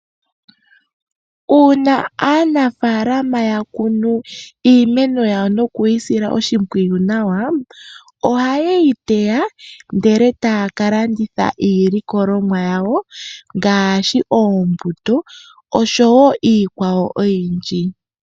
Uuna aanafalama ya kunu iimeno yawo nokuyi sila oshimpwiyu nawa ohaye yi teya ndele taya ka landitha iilikolwamo yawo ngaashi oombuto oshowo iikwawo oyindji.